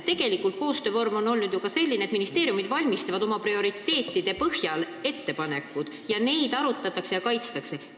Tegelikult on koostöövorm olnud ju ka selline, et ministeeriumid valmistavad oma prioriteetide põhjal ette ettepanekud, mida arutatakse ja kaitstakse.